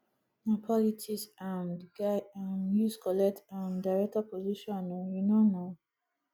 na politics um di guy um use collect um director position o you no know